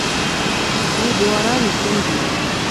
три гуарани в тенге